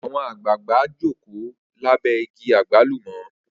Awọn agbalagba joko labẹ igi agbalumo.